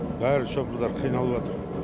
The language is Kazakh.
барлық шопырлар қиналып жатыр